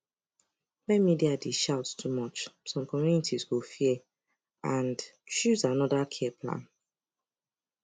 when media dey shout too much some communities go fear and choose another care plan